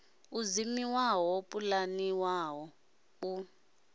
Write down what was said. u dzimiwa ho pulaniwaho u